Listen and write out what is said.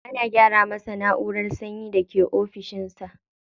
Ana gyara masa na'urar sanyin da ke ofishin sa.